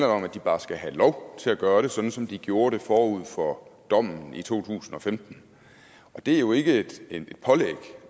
om at de bare skal have lov til at gøre det sådan som de gjorde det forud for dommen i to tusind og femten og det er jo ikke et et pålæg